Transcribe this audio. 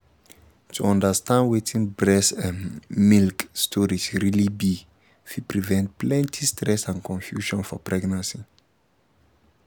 to understand wetin breast um milk storage really be fit prevent plenty stress and confusion for pregnancy